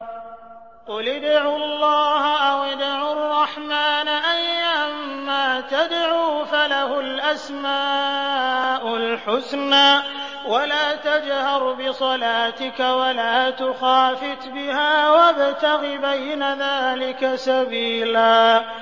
قُلِ ادْعُوا اللَّهَ أَوِ ادْعُوا الرَّحْمَٰنَ ۖ أَيًّا مَّا تَدْعُوا فَلَهُ الْأَسْمَاءُ الْحُسْنَىٰ ۚ وَلَا تَجْهَرْ بِصَلَاتِكَ وَلَا تُخَافِتْ بِهَا وَابْتَغِ بَيْنَ ذَٰلِكَ سَبِيلًا